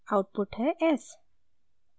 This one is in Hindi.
आउटपुट है s